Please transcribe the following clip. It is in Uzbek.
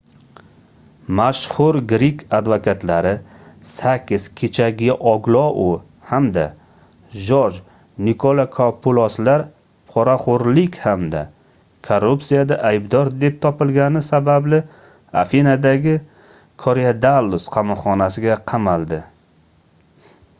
mashhur grek advokatlari sakis kechagioglou hamda jorj nikolakopuloslar poraxoʻrlik hamda korrupsiyada aydbor deb topilgani sababli afinadagi korydallus qamoqxonasiga qamald